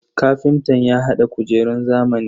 Kafintan ya hada kujerun zamani.